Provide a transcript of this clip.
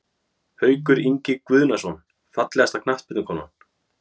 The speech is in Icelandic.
Haukur Ingi Guðnason Fallegasta knattspyrnukonan?